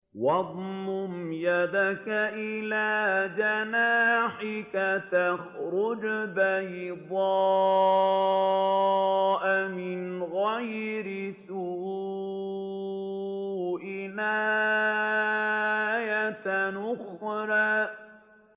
وَاضْمُمْ يَدَكَ إِلَىٰ جَنَاحِكَ تَخْرُجْ بَيْضَاءَ مِنْ غَيْرِ سُوءٍ آيَةً أُخْرَىٰ